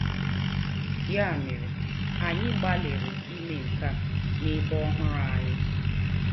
Ya mere, anyị gbalịrị ime nke a n'ebe ọhụrụ anyị.